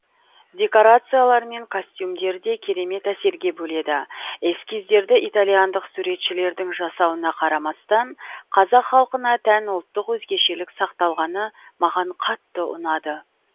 декорациялар мен костюмдер де керемет әсерге бөледі эскиздерді итальяндық суретшілердің жасауына қарамастан қазақ халқына тән ұлттық өзгешелік сақталғаны маған қатты ұнады